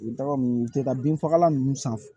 U bɛ taga n tɛ taa bin fagalan ninnu san